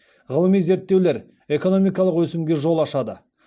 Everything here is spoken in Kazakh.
ғылыми зерттеулер экономикалық өсімге жол ашады